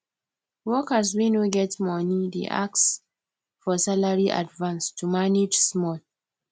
workers wey no get money dey ask for salary advance to manage small